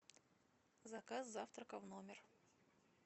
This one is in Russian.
заказ завтрака в номер